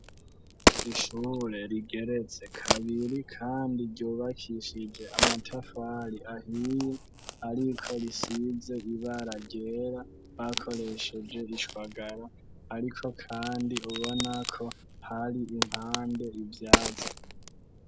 Ishure rigeretse kabiri kandi ryubakishije amatafari ahiye ,ariko risize ibara ryera bakoresheje ishwagara, ariko kandi ubonako har'impande ivyazi.